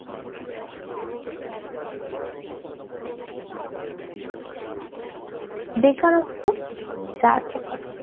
বেকারত্ব চার প্রকার